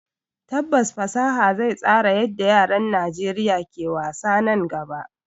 Tabbas fasaha zai tsara yadda yaran Najeriya ke wasa nan gaba